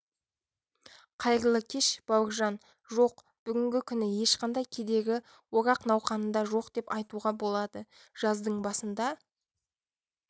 қайырлы кеш бауыржан жоқ бүгінгі күні ешқандай кедергі орақ науқанында жоқ деп айтуға болады жаздың басында